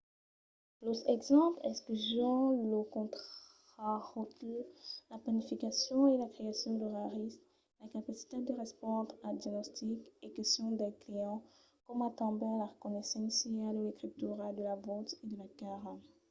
los exemples incluson lo contraròtle la planificacion e la creacion d'oraris la capacitat de respondre als diagnostics e questions dels clients coma tanben la reconeissença de l'escritura de la votz e de la cara